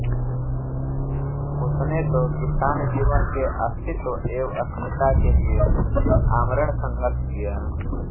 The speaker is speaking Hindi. उसने तो किसान जीवन के अस्तित्व एवं अस्मिता के लिए आमरण संघर्ष किया